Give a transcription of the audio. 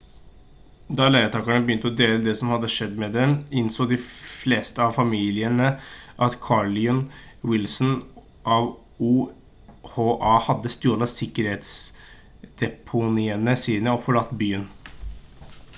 da leietakerne begynte å dele det som hadde skjedd med dem innså de fleste av familiene at carolyn wilson av oha hadde stjålet sikkerhetsdeponiene sine og forlatt byen